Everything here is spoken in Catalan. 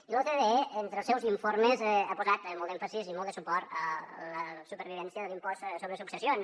i l’ocde entre els seus informes ha posat molt d’èmfasi i molt de suport a la supervivència de l’impost sobre successions